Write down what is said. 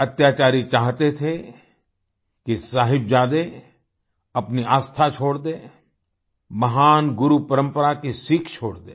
अत्याचारी चाहते थे कि साहिबजादे अपनी आस्था छोड़ दें महान गुरु परंपरा की सीख छोड़ दें